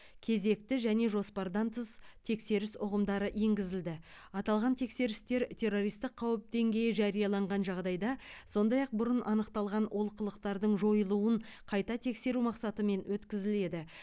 кезекті және жоспардан тыс тексеріс ұғымдары енгізілді аталған тексерістер террористік қауіп деңгейі жарияланған жағдайда сондай ақ бұрын анықталған олқылықтардың жойылуын қайта тексеру мақсатымен өткізіледі